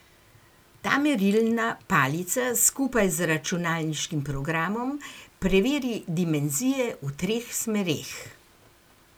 Ta merilna palica skupaj z računalniškim programom preveri dimenzije v treh smereh.